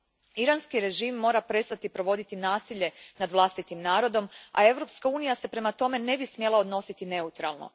Iranski režim mora prestati provoditi nasilje nad vlastitim narodom a Europska unija se prema tome ne bi smjela odnositi neutralno.